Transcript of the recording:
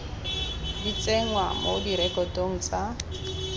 di tsenngwa mo direkotong tsa